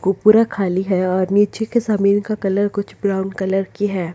कूपुरा खाली है और निचे का जमींन का कलर कुछ ब्राऊन कलर कि है।